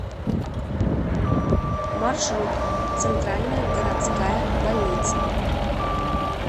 маршрут центральная городская больница